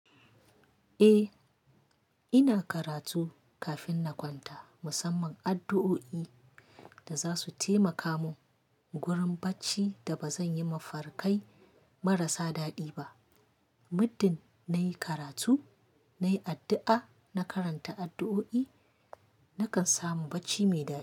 Eh, ina karatu kafin na kwanta, musamman addu'o'i da za su taimaka mun gurin bacci da ba zan yi mafarkai marasa daɗi ba. Muddin nayi karatu, nayi addu'a na karanta addu'o'i, nakan samu bacci mai daɗi.